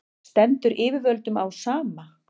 stendur yfirvöldum á sama